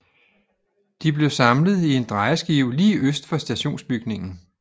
De blev samlet i en drejeskive lige øst for stationsbygningen